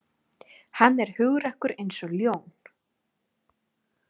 Hann er hugrakkur eins og ljón